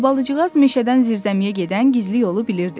Albalıcıqaz meşədən zirzəmiyə gedən gizli yolu bilirdi.